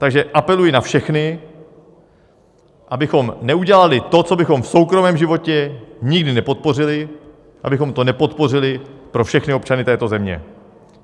Takže apeluji na všechny, abychom neudělali to, co bychom v soukromém životě nikdy nepodpořili, abychom to nepodpořili pro všechny občany této země.